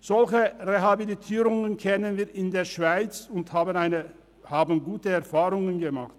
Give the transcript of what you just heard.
Solche Rehabilitierungen kennen wir in der Schweiz, und wir haben gute Erfahrungen damit gemacht.